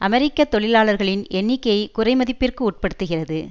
அமெரிக்க தொழிலாளர்களின் எண்ணிக்கையை குறைமதிப்பிற்கு உட்படுத்துகிறது